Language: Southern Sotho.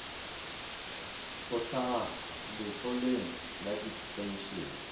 ho hlaha letloleng la dipenshene